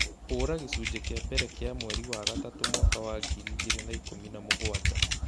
hũra gĩcunjĩ kĩa mbere kĩa mweri wa gatatũ, mwaka wa ngiri igĩrĩ na ikũmi na mũgwanja